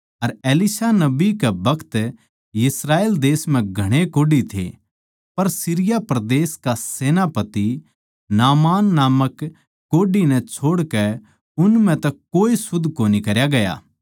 अर Elisha नबी कै बखत इस्राएल देश म्ह घणे कोढ़ी थे पर सीरिया परदेस का सेनापति नामान नामक कोढ़ी नै छोड़कै उन म्ह तै कोए शुध्द कोनी करया गया